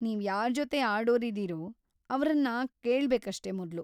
ನೀವ್ಯಾರ್‌ ಜೊತೆ ಆಡೋರಿದೀರೋ ಅವ್ರನ್ನ ಕೇಳ್ಬೇಕಷ್ಟೇ ಮೊದ್ಲು.